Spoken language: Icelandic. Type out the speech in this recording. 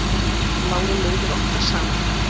Oft lágu leiðir okkar saman.